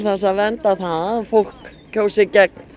að vernda það að fólk kjósi gegn